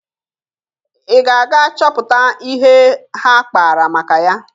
Ị ga-aga chọpụta ihe ha kpara maka ya?